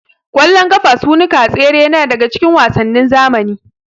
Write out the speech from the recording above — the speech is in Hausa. Ƙwallon ƙafa, sunuka, tsere na daga cikin wasannin zamani.